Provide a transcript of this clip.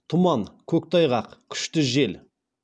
тұман көктайғақ күшті жел